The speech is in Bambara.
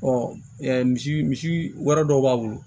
misi misi wɛrɛ dɔw b'a bolo